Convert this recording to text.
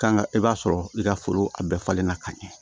Kan ka i b'a sɔrɔ i ka foro a bɛɛ falen na ka ɲɛ